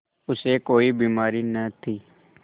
उसे कोई बीमारी न थी